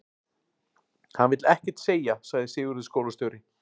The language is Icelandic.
Hann vill ekkert segja, sagði Sigurður skólastjóri.